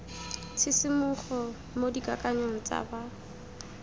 tshisimogo mo dikakanyong tsa ba